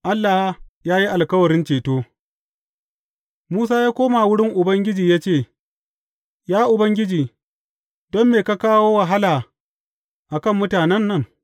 Allah ya yi alkawarin ceto Musa ya koma wurin Ubangiji ya ce, Ya Ubangiji, don me ka kawo wahala a kan mutanen nan?